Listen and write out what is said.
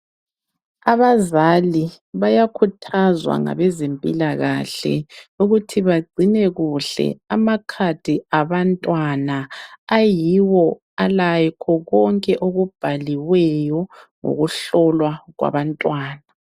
Abazali bayakhuthazwa ngabezempilakahle ukuthi bagcine kuhle amakhadi abantwana. Ayiwo alakho konke okubhaliweyo ngokuhlolwa kwabantwana.